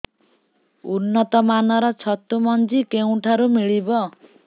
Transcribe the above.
ଉନ୍ନତ ମାନର ଛତୁ ମଞ୍ଜି କେଉଁ ଠାରୁ ମିଳିବ